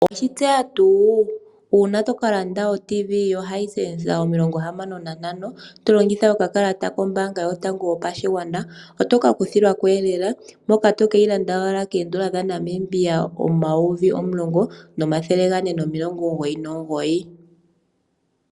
Oweshi tseya tuu uuna toka landa o-Tv yoHisense Omilongo yahamano nantano to longitha okakalata kombaanga yotango yopashigwana, otoka kuthilwako lela mpono to keyi landa owala koodola dhaNamibia omayovi omulongo nomathele ogane nomilongo omugoyi nomugoyi